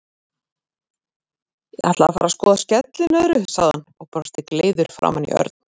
Ég ætla að fara að skoða skellinöðru, sagði hann og brosti gleiður framan í Örn.